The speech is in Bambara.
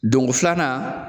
Dongo filanan